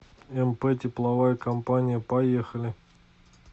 мп тепловая компания поехали